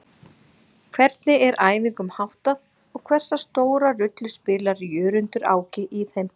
Hvernig er æfingum háttað og hversu stóra rullu spilar Jörundur Áki í þeim?